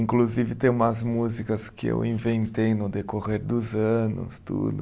Inclusive, tem umas músicas que eu inventei no decorrer dos anos, tudo.